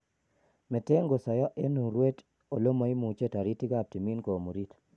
Meten kosayo en urweet ole maimuchi taritikab timin komuriite